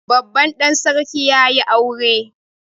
Babban ɗan sarki ya yi aure